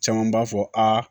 Caman b'a fɔ aa